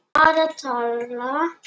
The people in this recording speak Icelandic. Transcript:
Bara tal.